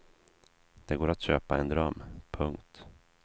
Det går att köpa en dröm. punkt